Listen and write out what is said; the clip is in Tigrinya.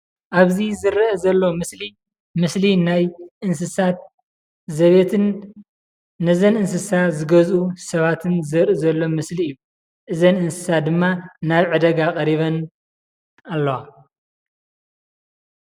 ኣብዚ ዝረአ ዘሎ ምስሊ ምስሊ ናይ እንስሳት ዘቤትን ነዘን እንስሳ ዝገዝኡ ሰባትን ዘርኢ ዘሎ ምስሊ እዩ፡፡ እዘን እንስሳ ድማ ናብ ዕዳጋ ቐሪበን ኣለዋ፡፡